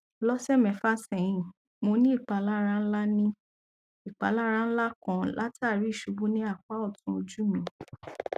lọ́sẹ̀ mẹ́fà sẹ́yìn mo ní ìpalára ńlá ìpalára ńlá kan látara ìṣubú ní apá ọ̀tún ojú mi